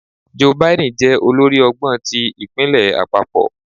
Joe Biden jẹ olórí ọgbọn ti ipinlẹ apapọ?